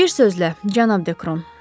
Bir sözlə, cənab Dekron.